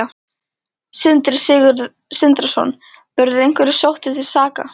Sindri Sindrason: Verða einhverjir sóttir til saka?